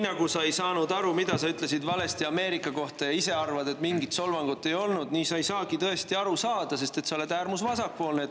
Lauri, sa ei saanud aru, mida sa ütlesid valesti Ameerika kohta, ja ise arvad, et mingit solvangut ei olnud – tõesti, sa ei saagi aru saada, sest sa oled äärmusvasakpoolne.